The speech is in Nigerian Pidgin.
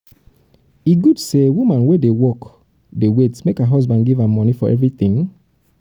e good sey woman wey dey work work dey wait make her husband give her moni for everytin?